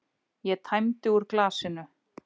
Ég tæmdi úr glasinu.